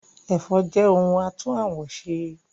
Ẹ̀fọ́ jẹ́ oúnjẹ àtún àwọ̀ ṣe